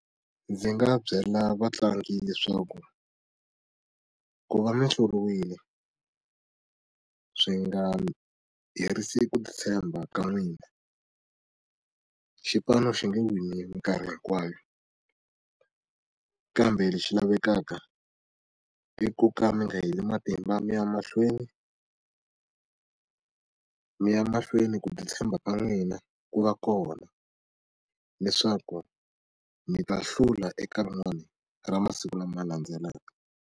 Ndzi nga byela vatlangi leswaku ku va mihluriwile swi nga herisi ku titshemba ka n'wina xipano xi nge wini mikarhi hinkwayo kambe lexi lavekaka i ku ka mi nga heli matimba mi ya mahlweni mi ya mahlweni ku titshemba ka n'wina ku va kona leswaku mi ta hlula eka rin'wani ra masiku lama landzelaka.